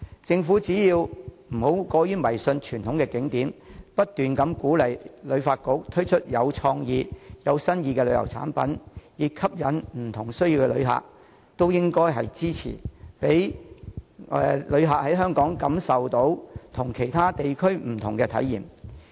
政府不應過於迷信傳統景點的魅力，反而應不斷鼓勵及支持旅發局推出具創意的旅遊產品，以吸引有不同需要的旅客，讓他們能在香港感受到不同的體驗。